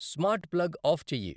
smart plug off చెయ్యి